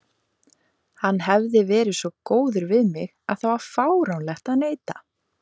Hann hafði verið svo góður við mig að það var fáránlegt að neita.